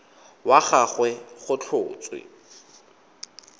wa ga gagwe go tlhotswe